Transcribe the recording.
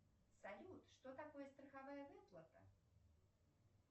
салют что такое страховая выплата